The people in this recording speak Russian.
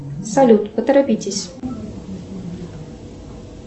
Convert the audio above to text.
салют поторопитесь